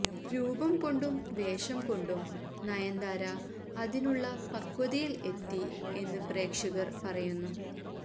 രൂപം കൊണ്ടും വേഷം കൊണ്ടും നയന്താര അതിനുള്ള പക്വതയില് എത്തി എന്ന് പ്രേക്ഷകര് പറയുന്നു